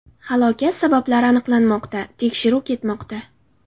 Halokat sabablari aniqlanmoqda, tekshiruv ketmoqda.